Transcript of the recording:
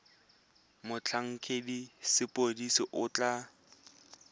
motlhankedi wa sepodisi o tla